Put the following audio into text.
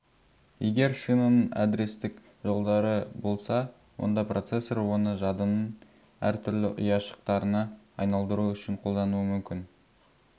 егер шинаның адрестік жолдары болса онда процессор оны жадының әр түрлі ұяшықтарына айналдыру үшін қолдануы мүмкін